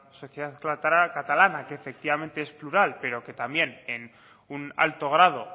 sociedad catalana que efectivamente es plural pero que también en un alto grado